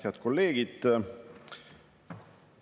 Head kolleegid!